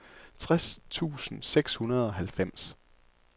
tres tusind seks hundrede og halvfems